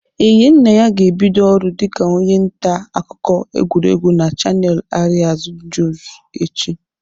Enyinnaya ga-ebido ọrụ dịka onye nta akụkọ egwuregwu na chanel Arịaz njuz echi.